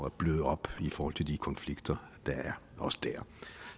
at bløde op i forhold til de konflikter der er også der